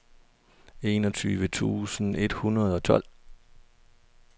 enogtyve tusind et hundrede og tolv